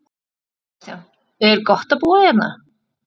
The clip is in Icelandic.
Kristján: Er gott að búa hérna?